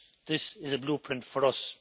This is a blueprint for us.